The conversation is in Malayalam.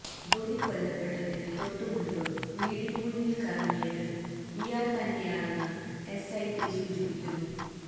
ഗൌരി കൊല്ലപ്പെടുന്നതിനു തൊട്ടുമുൻപു വീടിനു മുന്നിൽ കറങ്ങിയത് ഇയാൾ തന്നെയാണെന്നാണ് എസ്ഐടി സൂചിപ്പിക്കുന്നത്